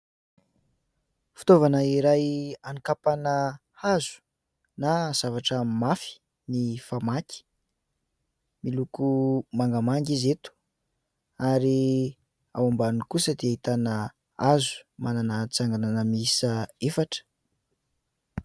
Fitaovana iray hanakapaina hazo na zavatra mafy ny famaky. Miloko mangamanga izy eto ary ao ambany kosa dia ahitana hazo manana tsanganana miisa efatra.